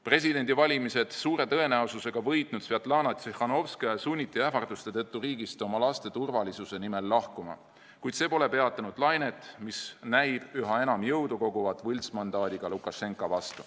Presidendivalimised suure tõenäosusega võitnud Svetlana Tsihhanovskaja sunniti ähvarduste tõttu riigist oma laste turvalisuse nimel lahkuma, kuid see pole peatanud lainet võltsmandaadiga Lukašenka vastu, mis näib üha enam jõudu koguvat.